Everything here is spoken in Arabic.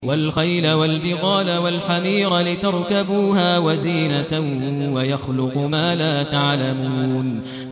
وَالْخَيْلَ وَالْبِغَالَ وَالْحَمِيرَ لِتَرْكَبُوهَا وَزِينَةً ۚ وَيَخْلُقُ مَا لَا تَعْلَمُونَ